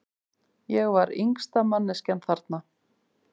Ég var yngsta manneskjan þarna.